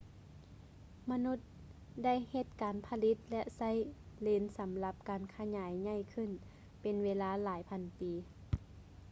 ມະນຸດໄດ້ເຮັດການຜະລິດ ແລະ ໃຊ້ເລນສຳລັບການຂະຫຍາຍໃຫຍ່ຂື້ນເປັນເວລາຫລາຍພັນປີ